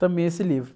também esse livro.